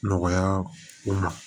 Nɔgɔya o ma